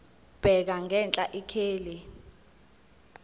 bheka ngenhla ikheli